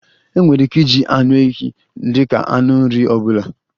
E nwere ike iji anụ ehi dika anụ na nri ọbụla